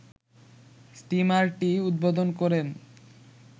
স্টিমারটি উদ্বোধন করেন